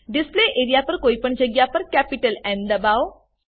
display area પર કોઈ પણ જગ્યા પર કેપિટલ ન દબાઓ